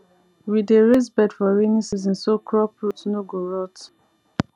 we dey raise bed for rainy season so crop root no go rot